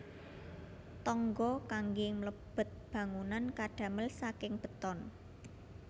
Tangga kanggé mlebet bangunan kadamel saking beton